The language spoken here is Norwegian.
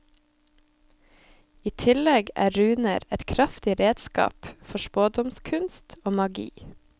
I tillegg er runer et kraftig redskap for spådomskunst og magi.